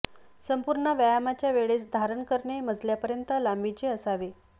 संपूर्ण व्यायामाच्या वेळेस धारण करणे मजल्यापर्यंत लांबीचे असावे